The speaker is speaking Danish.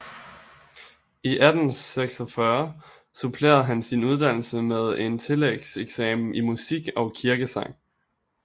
I 1864 supplerede han sin uddannelse med en tillægseksamen i musik og kirkesang